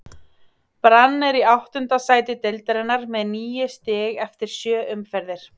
Brann er í áttunda sæti deildarinnar með níu stig eftir sjö umferðir.